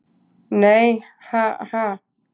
Nei, ha, ha.